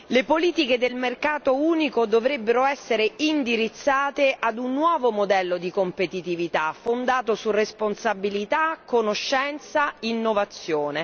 Le politiche del mercato unico dovrebbero essere indirizzate ad un nuovo modello di competitività fondato su responsabilità, conoscenza, innovazione.